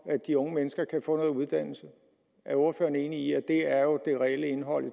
at de unge mennesker kan få noget uddannelse er ordføreren enig i at det er det reelle indhold i